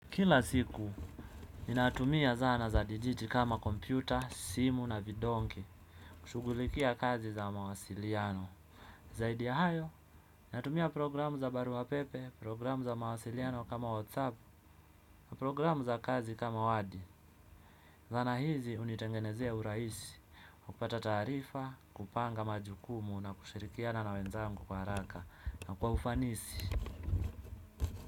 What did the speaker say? Kila siku, ninatumia zana za dijiti kama kompyuta, simu na vidonge. Shughulikia kazi za mawasiliano. Zaidi ya hayo, ninatumia programu za barua pepe, programu za mawasiliano kama whatsapp, programu za kazi kama wadi. Zana hizi hunitengenezea urahisi, kupata taarifa, kupanga majukumu na kushirikiana na wenzangu kwa haraka na kwa ufanisi.